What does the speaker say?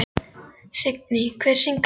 Signý, hver syngur þetta lag?